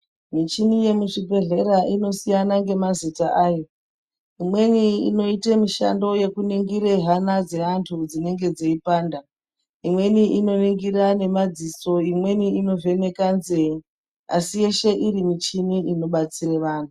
Mishini yemuzvibhedhlera inosiyana ngemazita ayo. Imweni inoite mishando yekuningira hana dzevantu dzinenge dzeipanda, imweni inoningira ngemadziso. Imweni inovheneka nzee asi yeshe iri michini inobatsire antu.